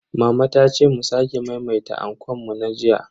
Mama ta ce mu sake maimaita ankon mu na jiya.